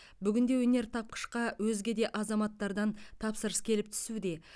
бүгінде өнертапқышқа өзге де азаматтардан тапсырыс келіп түсуде